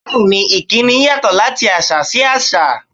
Bẹ́ẹ̀ ni, ìkíni yàtọ̀ láti àṣà sí àṣà.